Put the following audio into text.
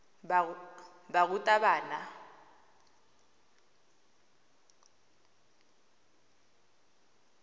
barutabana